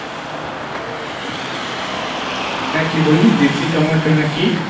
হ্যাঁ কী বললি দেশী টমেটো না কী?